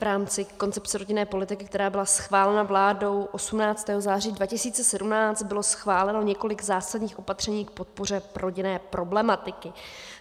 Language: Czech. V rámci koncepce rodinné politiky, která byla schválena vládou 18. září 2017, bylo schváleno několik zásadních opatření k podpoře rodinné problematiky.